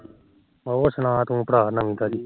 ਹੋਰ ਸਣਾ ਭਰਾ ਕੋਈ ਨਵੀ ਤਾਜੀ